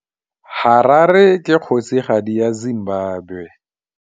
Harare ke kgosigadi ya Zimbabwe.